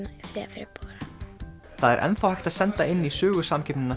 febrúar það er enn þá hægt að senda inn í